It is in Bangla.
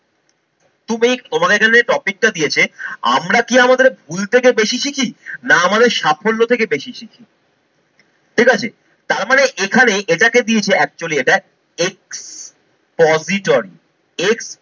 তুমি তোমাকে যদি topic টা দিয়েছে আমরা কি আমাদের ভুল থেকে বেশি সিখি না আমাদের সাফল্য থেকে বেশি শিখি? ঠিকাছে। টার মানে এখানে এটাকে দিয়েছে actually এটা